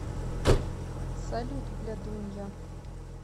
салют блядунья